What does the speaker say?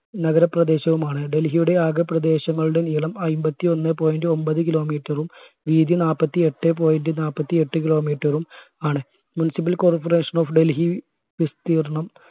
നഗരപ്രദേശവുമാണ് ഡൽഹിയുടെ ആഗ പ്രദേശങ്ങളുടെ നീളം അയ്ബത്തി ഒന്നേ point ഒമ്പത് kilometer ഉം വീതി നാല്പത്തി എട്ടേ point നാല്പത്തി എട്ട് kilometer ഉം ആണ് municipal corporation of ഡൽഹി വിസ്തീർണ്ണം